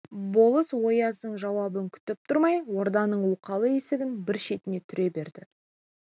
болыс ояздың жауабын күтіп тұрмай орданың оқалы есігін бір шетінен түре берді